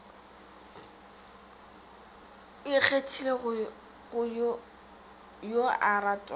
a ikgethele yo a ratwago